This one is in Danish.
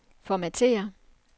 formatér